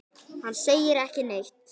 Hann segir ekki neitt.